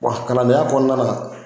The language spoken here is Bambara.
Wa kalandenya kɔnɔna na